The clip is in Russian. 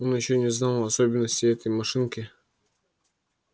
он ещё не знал особенностей этой машинки